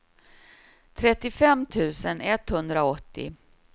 trettiofem tusen etthundraåttio